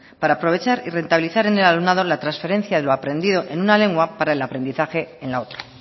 para aprovechar y rentabilizar en el alumnado la transferencia de lo aprendido en una lengua para el aprendizaje en la otra